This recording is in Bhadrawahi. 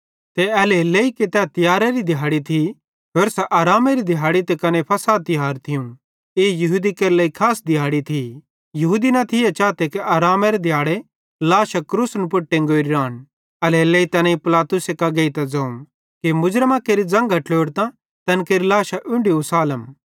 ते एल्हेरेलेइ कि तै तियेरारी दिहाड़ी थी होरसां आरामेरी दिहाड़ी ते कने फ़सह तिहार थियूं ई यहूदी केरे लेइ खास दिहाड़ी थी यहूदी न थिये चाते कि आरामेरे दिहाड़े लाशां क्रूसन पुड़ टंगोरी रान एल्हेरेलेइ तैनेईं पिलातुसे कां गेइतां ज़ोवं कि मुर्ज़मां केरि ज़न्घां ट्लोड़तां तैन केरि लाशां उन्ढी उसालम